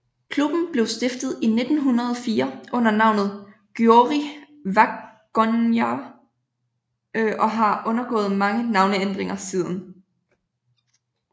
Klubben blev stiftet i 1904 under navnet Győri Vagongyar og har undergået mange navneændringer siden